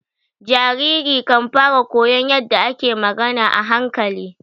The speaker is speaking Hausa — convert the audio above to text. Jariri kan fara koyon yadda ake magana a hankali.